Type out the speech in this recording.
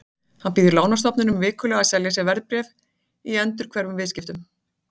Hann býður lánastofnunum vikulega að selja sér verðbréf í endurhverfum viðskiptum.